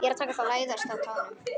Læðast á tánum.